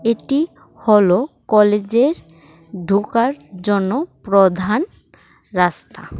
এটি হলো কলেজের ঢোকার জন্য প্রধান রাস্তা।